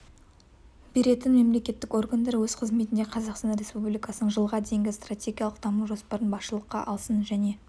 беретін мемлекеттік органдар өз қызметінде қазақстан республикасының жылға дейінгі стратегиялық даму жоспарын басшылыққа алсын және